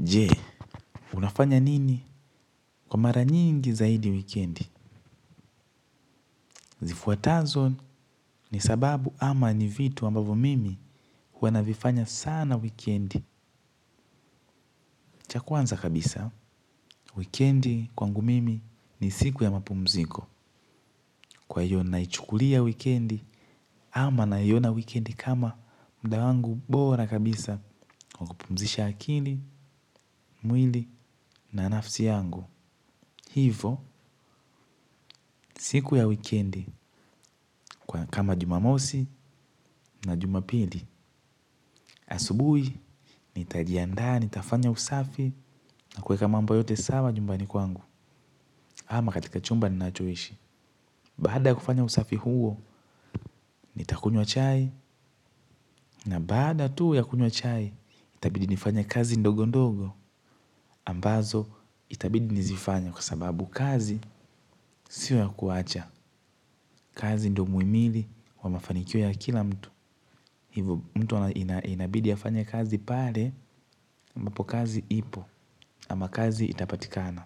Je, unafanya nini kwa mara nyingi zaidi wikendi? Zifuatazo ni sababu ama ni vitu ambavyo mimi huwa navifanya sana wikendi. Cha kwanza kabisa, wikendi kwangu mimi ni siku ya mapumziko. Kwa hiyo naichukulia wikendi ama naiona wikendi kama muda wangu bora kabisa. Kwa kupumzisha akili, mwili na nafsi yangu. Hivo, siku ya wikendi, kama jumamosi na jumapili, asubuhi, nitajiandaa, nitafanya usafi, na kuweka mambo yote sawa nyumbani kwangu, ama katika chumba ninachoishi. Baada ya kufanya usafi huo, nitakunywa chai na baada tu ya kunywa chai, itabidi nifanye kazi ndogo ndogo ambazo itabidi nizifanye kwa sababu kazi sio ya kuwacha kazi ndio mwimili wa mafanikio ya kila mtu. Hivo mtu inabidi afanye kazi pale ambapo kazi ipo ama kazi itapatikana.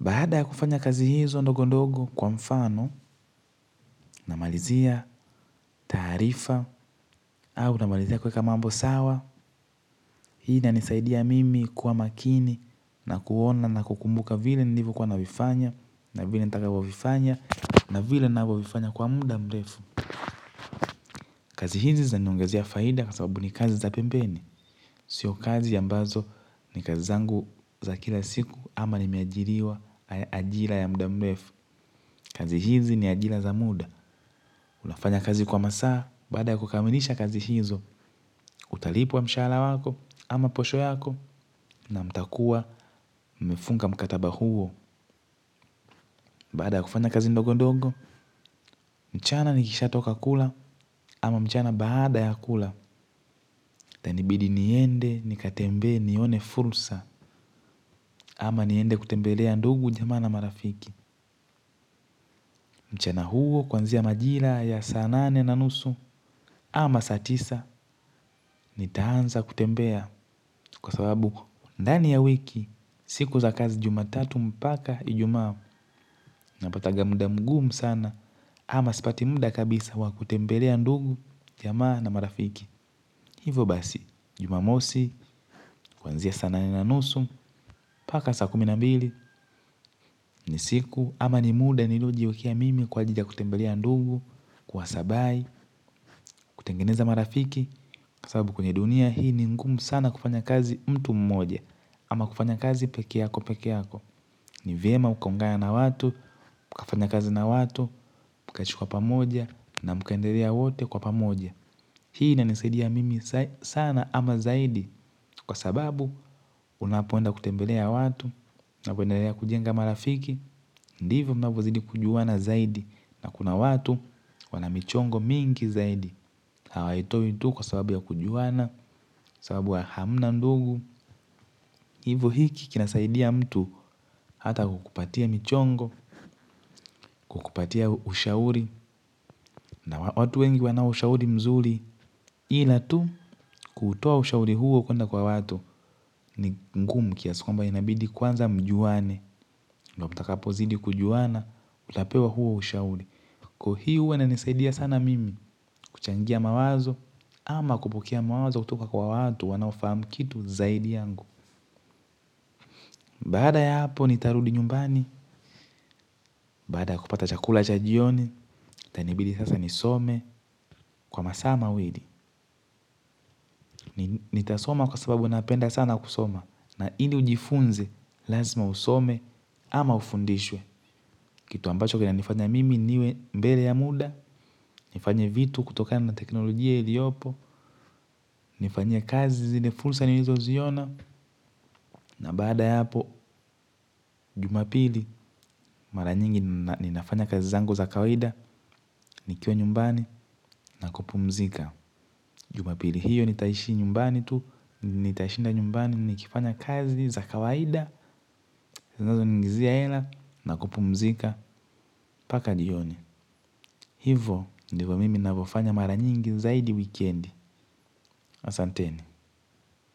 Baada ya kufanya kazi hizo ndogo ndogo kwa mfano namalizia taarifa au namalizia kuweka mambo sawa. Hii inanisaidia mimi kuwa makini na kuona na kukumbuka vile nilivyokuwa navifanya na vile nitakavyovifanya na vile ninavyovifanya kwa muda mrefu. Kazi hizi zinaniongezea faida kwa sababu ni kazi za pembeni. Sio kazi ambazo ni kazi zangu za kila siku ama nimeajiriwa ajira ya muda mrefu. Kazi hizi ni ajira za muda, unafanya kazi kwa masaa, baada ya kukamilisha kazi hizo, utalipwa mshahara wako, ama posho yako, na mtakuwa mmefunga mkataba huo, baada ya kufanya kazi ndogo ndogo, mchana nikishatoka kula, ama mchana baada ya kula, itanibidi niende nikatembee nione fursa, ama niende kutembelea ndugu jamaa na marafiki. Mchana huo kuanzia majira ya saa nane na nusu ama saa tisa nitaanza kutembea kwa sababu ndani ya wiki siku za kazi jumatatu mpaka ijumaa napatanga muda mgumu sana ama sipati muda kabisa wa kutembelea ndugu jamaa na marafiki. Hivyo basi, jumamosi, kuanzia saa nane na nusu, mpaka saa kumi na mbili, ni siku, ama ni muda niliojiwekia mimi kwa ajili ya kutembelea ndugu, kuwasabai, kutengeneza marafiki, kwa sababu kwenye dunia hii ni ngumu sana kufanya kazi mtu mmoja, ama kufanya kazi pekee yako pekee yako. Ni vyema ukaungana na watu, mkafanya kazi na watu, mkachukua pamoja na mkaendelea wote kwa pamoja. Hii inanisaidia mimi sana ama zaidi. Kwa sababu unapoenda kutembelea watu, unapoendelea kujenga marafiki. Ndivo mnavozidi kujuana zaidi na kuna watu wana michongo mingi zaidi. Hawaitoi tu kwa sababu ya kujuana, sababu ya hamna ndugu. Hivo hiki kinasaidia mtu hata kukupatia michongo, kukupatia ushauri na watu wengi wana ushauri mzuri. Ila tu kuutoa ushauri huo kuenda kwa watu ni ngumu kiasi kwamba inabidi kwanza mjuane. Na mtakapozidi kujuana, utapewa huo ushauri. Kwa hii huwa inanisaidia sana mimi kuchangia mawazo ama kupokea mawazo kutoka kwa watu wanaofahamu kitu zaidi yangu. Baada ya hapo nitarudi nyumbani, baada ya kupata chakula cha jioni, itainibidi sasa nisome kwa masaa mawili. Nitasoma kwa sababu napenda sana kusoma na ili ujifunze lazima usome ama ufundishwe. Kitu ambacho kinanifanya mimi niwe mbele ya muda, nifanye vitu kutokana na teknolojia iliyopo, nifanyie kazi zile fursa nilizoziona. Na baada ya hapo jumapili mara nyingi ninafanya kazi zangu za kawaida. Nikiwa nyumbani na kupumzika. Jumapili hiyo nitaishi nyumbani tu. Nitashinda nyumbani nikifanya kazi za kawaida zinazoniingizia hela na kupumzika mpaka jioni. Hivo ndivo mimi navyofanya mara nyingi zaidi wikendi. Asanteni.